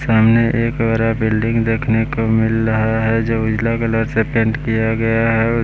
सामने एक बरा बिल्डिंग देखने को मिल रहा है जो उजला कलर से पेंट किया गया है।